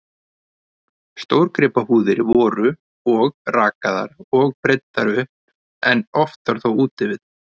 Stórgripahúðir voru og rakaðar og breiddar upp, en oftar þó úti við.